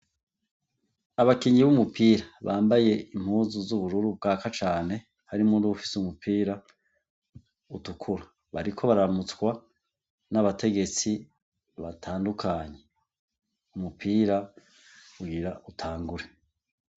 Abakinyi b'umupira bambaye impuzu zubururu bwaka cane harimwo n'uwufise umupira utukura, bariko bararamutswa n'abategetsi batandukanye. Umupira ugira utangure.